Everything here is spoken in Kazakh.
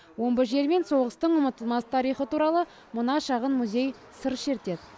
омбы жері мен соғыстың ұмытылмас тарихы туралы мына шағын музей сыр шертеді